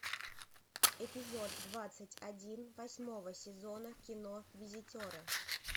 эпизод двадцать один восьмого сезона кино визитеры